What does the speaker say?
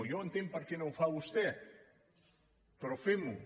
jo ja entenc per què no ho fa vostè però fem ho